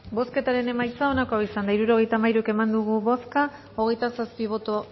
bozketaren emaitza onako izan da hirurogeita hamairu eman dugu bozka hogeita zazpi boto